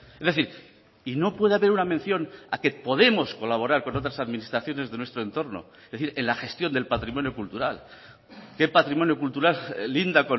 es decir y no puede haber una mención a que podemos colaborar con otras administraciones de nuestro entorno es decir en la gestión del patrimonio cultural qué patrimonio cultural linda